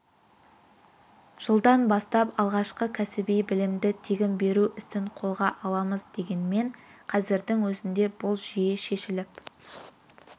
жылдан бастап алғашқы кәсіби білімді тегін беру ісін қолға аламыз дегенмен қазірдің өзінде бұл жүйе шешіліп